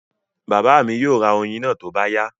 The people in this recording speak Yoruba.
Bàbá mi yóò ra oyin náà tó bá yá